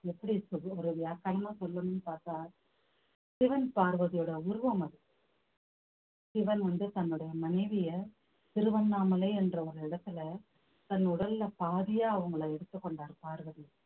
எப்படி இருக்குது ஒரு சொல்லணும்ன்னு பாத்தா சிவன் பார்வதியோட உருவம் அது சிவன் வந்து தன்னுடைய மனைவியை திருவண்ணாமலை என்ற ஒரு இடத்துல தன் உடல்ல பாதியா அவங்களை எடுத்துக் கொண்டார் பார்வதி